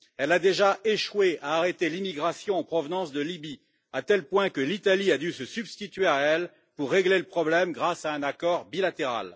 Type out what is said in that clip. Elle a déjà échoué à arrêter l'immigration en provenance de Libye, à tel point que l'Italie a dû se substituer à elle pour régler le problème grâce à un accord bilatéral.